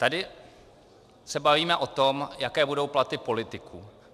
Tady se bavíme o tom, jaké budou platy politiků.